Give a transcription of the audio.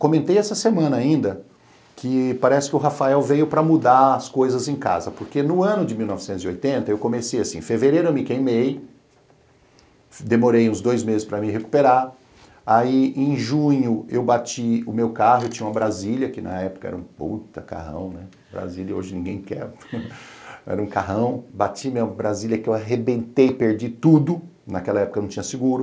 Comentei essa semana ainda que parece que o Rafael veio para mudar as coisas em casa, porque no ano de mil novecentos e oitenta eu comecei assim, em fevereiro eu me queimei, demorei uns dois meses para me recuperar, aí em junho eu bati o meu carro, eu tinha uma Brasília, que na época era um puta carrão, Brasília hoje ninguém quer, era um carrão, bati minha Brasília que eu arrebentei, perdi tudo, naquela época não tinha seguro,